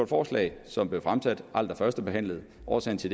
forslag som blev fremsat aldrig førstebehandlet årsagen til